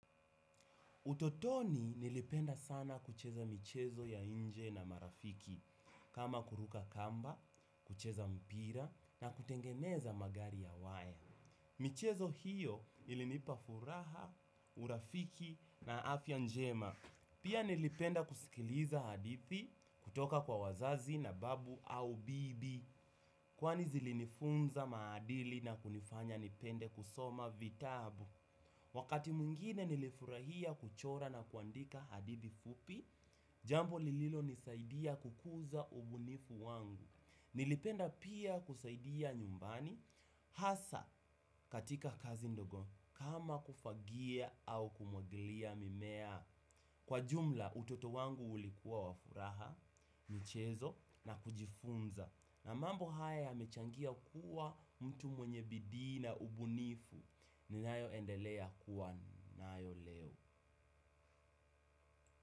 Utotoni nilipenda sana kucheza michezo ya nje na marafiki, kama kuruka kamba, kucheza mpira na kutengeneza magari ya waya. Michezo hiyo ilinipa furaha, urafiki na afya njema. Pia nilipenda kusikiliza hadithi kutoka kwa wazazi na babu au bibi, kwani zilinifunza maadili na kunifanya nipende kusoma vitabu. Wakati mwingine nilifurahia kuchora na kuandika hadithi fupi, jambo lililo nisaidia kukuza ubunifu wangu. Nilipenda pia kusaidia nyumbani, hasa katika kazi ndogo kama kufagia au kumwagilia mimea. Kwa jumla utoto wangu ulikuwa wa furaha, michezo na kujifunza. Na mambo haya yamechangia kuwa mtu mwenye bidii na ubunifu. Ninayo endelea kuwa nayo leo.